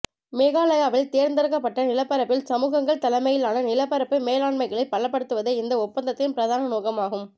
மேகாலயாவில் தேர்ந்தெடுக்கப்பட்ட நிலப்பரப்பில் சமூகங்கள் தலைமையிலான நிலப்பரப்பு மேலாண்மைகளை பலப்படுத்துவதே இந்த ஒப்பந்தத்தின் பிரதான நோக்கம் ஆகும்